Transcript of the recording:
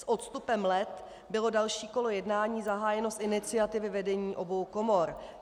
S odstupem let bylo další kolo jednání zahájeno z iniciativy vedení obou komor.